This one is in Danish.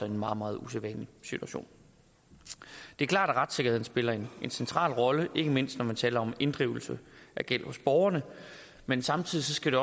en meget meget usædvanlig situation det er klart at retssikkerheden spiller en central rolle ikke mindst når man taler om inddrivelse af gæld hos borgerne men samtidig skal